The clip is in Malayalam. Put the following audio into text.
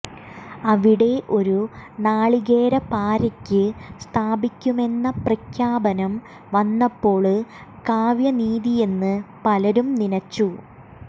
അവിടെ ഒരു നാളികേരപാര്ക്ക് സ്ഥാപിക്കുമെന്ന പ്രഖ്യാപനം വന്നപ്പോള് കാവ്യനീതിയെന്ന് പലരും നിനച്ചു